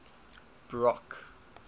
brock